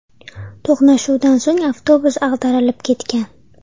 To‘qnashuvdan so‘ng avtobus ag‘darilib ketgan.